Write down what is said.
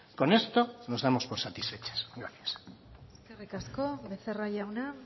con esto nos damos por satisfechas gracias eskerrik asko becerra jauna